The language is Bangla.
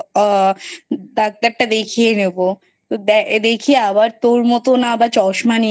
আ Doctor টা দেখিয়ে নেবো দেখিয়ে আবার তোর মতো চশমা